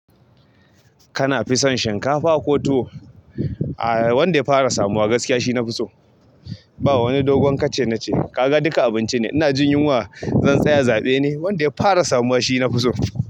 Kana fison shinkafa ko tuwo? A. Wanda ya fara samuwa gaskiya shi nafi so. Ba wani dogon kace nace. Kaga duka abinci ne. Ina jin yunwa, zan tsaya zaɓe ne. Wanda ya fara samuwa shi nafi so.